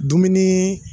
Dumuni